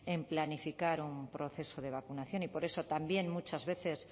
en planificar un proceso de vacunación y por eso también muchas veces